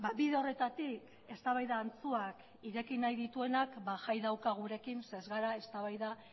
bide horretatik eztabaida faltsuak ireki nahi dituenak ba jai dauka gurekin zeren ez gara eztabaida